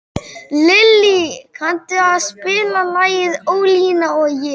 Lillý, kanntu að spila lagið „Ólína og ég“?